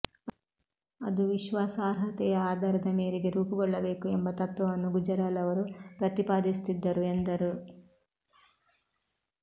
ಅದು ವಿಶ್ವಾಸಾರ್ಹತೆಯ ಆಧಾರದ ಮೇರೆಗೆ ರೂಪುಗೊಳ್ಳಬೇಕು ಎಂಬ ತತ್ವವನ್ನು ಗುಜರಾಲ್ ಅವರು ಪ್ರತಿಪಾದಿಸುತ್ತಿದ್ದರು ಎಂದರು